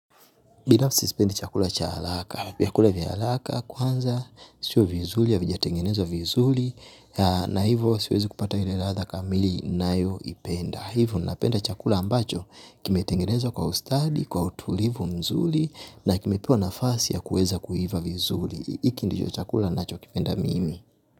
Binafsi sipendi chakula cha haraka. Vyakula vya haraka kwanza, sio vizuri havijatengenezwa vizuri na hivyo siwezi kupata ile ladha kamili ninayoipenda. Hivyo napenda chakula ambacho kimetengenezwa kwa ustadi, kwa utulivu mzuri na kimepewa nafasi ya kuweza kuiva vizuri. Hiki ndicho chakula nachokipenda mimi.